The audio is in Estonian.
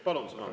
Palun!